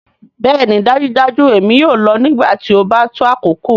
Bẹẹni dajudaju èmi yoo lọ nigbati o ba to akoko.